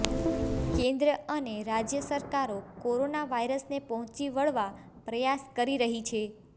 કેન્દ્ર અને રાજ્ય સરકારો કોરોના વાયરસને પહોંચી વળવા પ્રયાસ કરી રહી છે